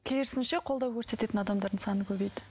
керісінше қолдау көрсететін адамдардың саны көбейді